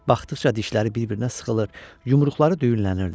Baxdıqca dişləri bir-birinə sıxılır, yumruqları düyünlənirdi.